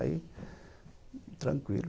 Aí, tranquilo.